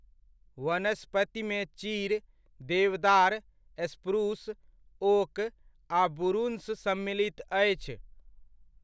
वनस्पतिमे चीड़, देवदार, spruce, oak आ बुरुंश सम्मिलित अछि।